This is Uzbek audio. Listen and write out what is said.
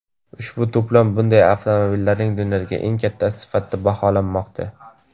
Ushbu to‘plam bunday avtomobillarning dunyodagi eng kattasi sifatida baholanmoqda.